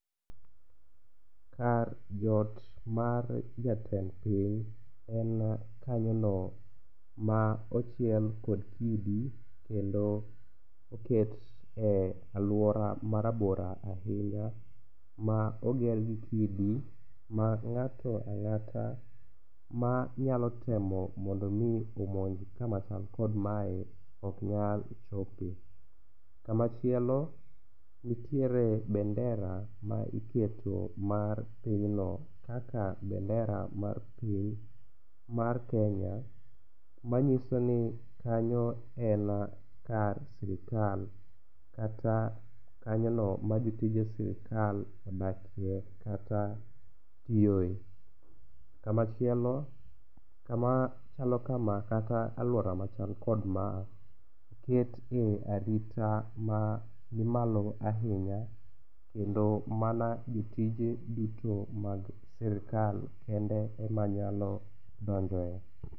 Kar jot mar jatend piny en kanyono ma ochiel kod kidi kendo oket e aluora marabora ahinya ma oger gi kidi ma ng'ato ang'ata manyalo temo mondo mi omonj kama chal kod mae ok nyal chope. Kama chielo nitiere bendera ma iketo mar pinyno kaka bendera mar piny mar Kenya manyiso ni kanyo en kar sirkal kata kanyono majotije sirkal odakie kata tiyoe. Machielo kama chalo kama kata aluora machalo kama ikete arita manimalo ahinya kendo mana jotije duto mag sirkal kende ema nyalo donjoe.